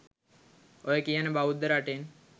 ඔය කියන බෞද්ධ රටෙන්